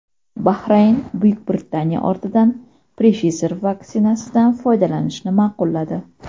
Bahrayn Buyuk Britaniya ortidan Pfizer vaksinasidan foydalanishni ma’qulladi.